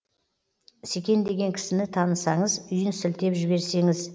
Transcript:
секен деген кісіні танысаңыз үйін сілтеп жіберсеңіз